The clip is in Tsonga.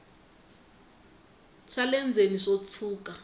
swa le ndzeni swo tshuka